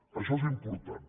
això és important